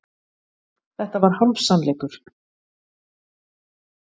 Þetta var hálfsannleikur.